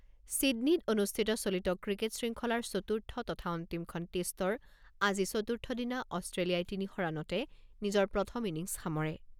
ছিডনীত অনুষ্ঠিত চলিত ক্ৰিকেট শৃংখলাৰ চতুৰ্থ তথা অন্তিমখন টেষ্টৰ আজি চতুৰ্থ দিনা অষ্ট্ৰেলিয়াই তিনি শ ৰাণতে নিজৰ প্ৰথম ইনিংছ সামৰে।